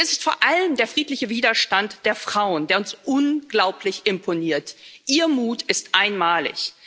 Und es ist vor allem der friedliche Widerstand der Frauen, der uns ganz unglaublich imponiert. Ihr Mut ist einmalig.